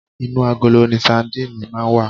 Inú agolo ni sandíìnì máa ń wà